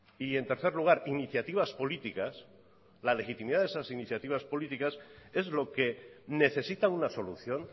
y en tercer lugar iniciativas políticas la legitimidad de esas iniciativas políticas es lo que necesita una solución